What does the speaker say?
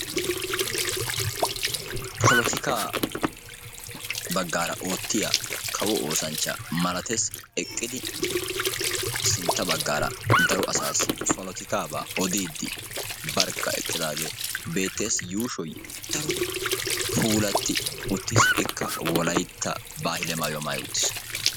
Polotikaa baggaara oottiya kawo oosanchcha malatees, eqqidi sintta baggaara daro asaassi polotikaabaa odiiddi barkka eqqidaagee beettees. Yuushoy daro puulatti uttiis, ikka wolaytta baahile maayuwa maayi uttiis.